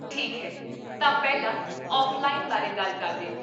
ਠੀਕ ਹੈ, ਤਾਂ ਪਹਿਲਾਂ ਔਫ਼ਲਾਈਨ ਬਾਰੇ ਗੱਲ ਕਰਦੇ ਹਾਂ